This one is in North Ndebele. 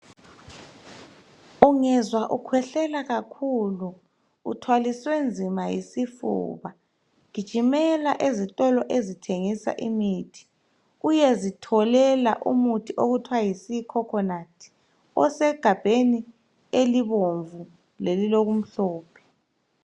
Ungezwa ukhwehlela kakhulu uthwaliswe nzima yisifuba gijimela ezitolo ezithengisa imithi uyezitholela umuthi okuthiwa yi sea coconut osegabheni elibomvu lelilokumhlophe.